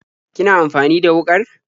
Kina amfani da wuƙar?